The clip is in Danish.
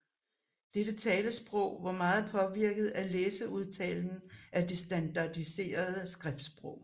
Dette talesprog var meget påvirket af læseudtalen af det standardiserede skriftsprog